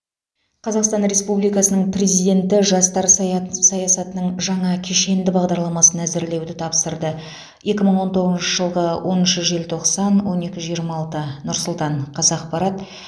қазақстан республикасының президенті жастар сая саясатының жаңа кешенді бағдарламасын әзірлеуді тапсырды екі мың он тоғызыншы жылғы оныншы желтоқсан он екі жиырма алты нұр сұлтан қазақпарат